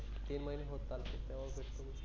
तीन महिने होत आलते तेव्हा भेटलो होतो.